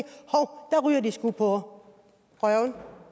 at ryger de sgu på røven